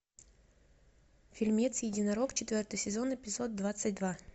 фильмец единорог четвертый сезон эпизод двадцать два